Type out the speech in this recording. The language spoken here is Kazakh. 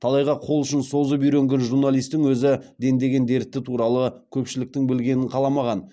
талайға қол ұшын созып үйренген журналистің өзі дендеген дерті туралы көпшіліктің білгенін қаламаған